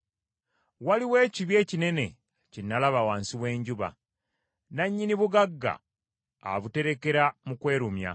Waliwo ekibi ekinene kye nalaba wansi w’enjuba: nannyini bugagga abuterekera mu kwerumya,